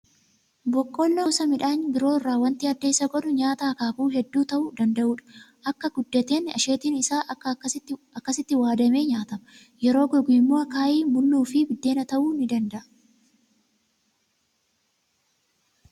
Boqqolloon gosa midhaan biroo irraa waanti adda isa godhu, nyaata akaakuu hedduu ta'uu danda'udha. Akka guddateen asheetiin isaa akkasitti waadamee nyaatama. Yeroo gogu immoo akaayii, mulluu fi biddeena ta'uu ni danda'a